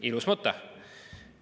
Ilus mõte!